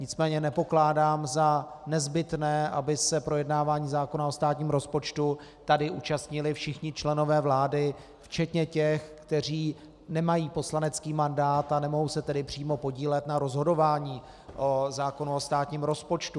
Nicméně nepokládám za nezbytné, aby se projednávání zákona o státním rozpočtu tady účastnili všichni členové vlády včetně těch, kteří nemají poslanecký mandát, a nemohou se tedy přímo podílet na rozhodování o zákonu o státním rozpočtu.